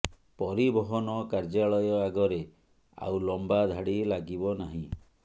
ପରିବହନ କାର୍ଯ୍ୟାଳୟ ଆଗରେ ଆଉ ଲମ୍ବା ଧାଡ଼ି ଲାଗିବ ନାହିଁ